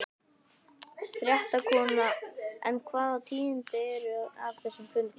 Fréttakona: En hvaða tíðindi eru af þessum fundi?